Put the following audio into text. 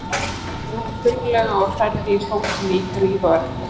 sagði hún þurrlega og hrærði í sósunni í gríð og erg.